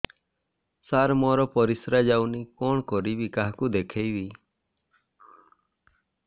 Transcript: ସାର ମୋର ପରିସ୍ରା ଯାଉନି କଣ କରିବି କାହାକୁ ଦେଖେଇବି